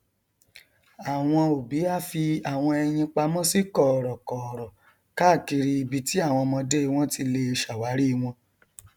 àwọn òbí a fi àwọn ẹyin pamọ sí kọọrọkọọrọ káàkiri ibi tí àwọn ọmọdé wọn ti lè ṣàwárí wọn